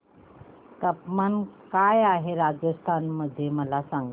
तापमान काय आहे राजस्थान मध्ये मला सांगा